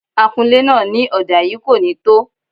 Akunlé náà ní ọ̀dà yìí kò ní tó